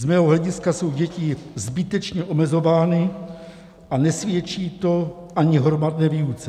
Z mého hlediska jsou děti zbytečně omezovány a nesvědčí to ani hromadné výuce.